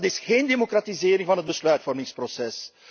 Dat is geen democratisering van het besluitvormingsproces.